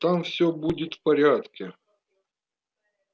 там все будет в порядке